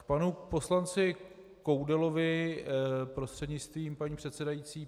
K panu poslanci Koudelovi prostřednictvím paní předsedající.